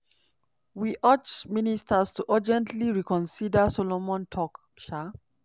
"we urge ministers to urgently reconsider" solomon tok. um